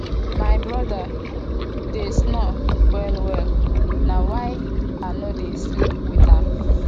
my broda dey snore wellwell na why i no dey sleep wit am